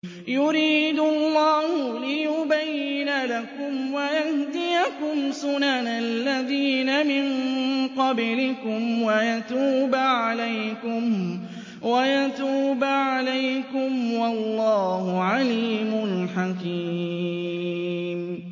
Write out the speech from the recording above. يُرِيدُ اللَّهُ لِيُبَيِّنَ لَكُمْ وَيَهْدِيَكُمْ سُنَنَ الَّذِينَ مِن قَبْلِكُمْ وَيَتُوبَ عَلَيْكُمْ ۗ وَاللَّهُ عَلِيمٌ حَكِيمٌ